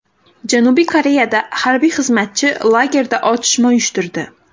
Janubiy Koreyada harbiy xizmatchi lagerda otishma uyushtirdi.